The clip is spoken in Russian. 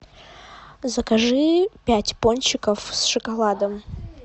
закажи пять пончиков с шоколадом